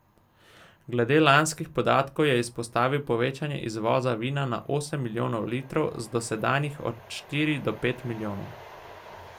Glede lanskih podatkov je izpostavil povečanje izvoza vina na osem milijonov litrov z dosedanjih od štiri do pet milijonov.